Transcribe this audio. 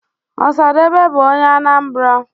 osadebe bu onye Anambra